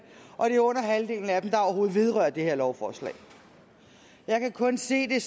og det er under halvdelen af dem der overhovedet vedrører det her lovforslag jeg kan kun se det